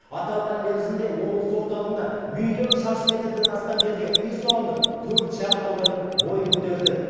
аталған мерзімде облыс орталығында миллион шаршы метрден астам жерге үй салынып төрт шағын аудан бой көтерді